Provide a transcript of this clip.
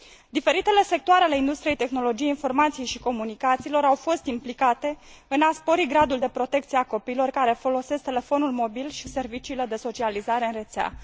Diferitele sectoare ale industriei tehnologiei informației și comunicațiilor au fost implicate în a spori gradul de protecție a copiilor care folosesc telefonul mobil și serviciile de socializare în rețea.